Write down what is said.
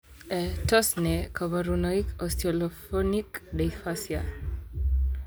Tos nee koborunoikab Osteoglophonic dysplasia?